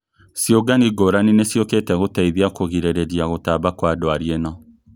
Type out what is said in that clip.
Ciũngano ngũrani nĩciũkĩte gũteithia kũgirĩrĩria gũtamba kwa ndwari ĩno